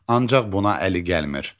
Ancaq buna əli gəlmir.